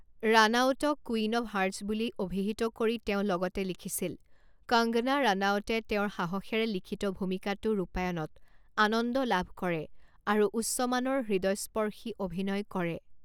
ৰানাউতক 'queen of hearts' বুলি অভিহিত কৰি তেওঁ লগতে লিখিছিল, 'কঙ্গনা ৰানাউতে তেওঁৰ সাহসেৰে লিখিত ভূমিকাটো ৰূপায়ণত আনন্দ লাভ কৰে আৰু উচ্চমানৰ, হৃদয়স্পৰ্শী অভিনয় কৰে।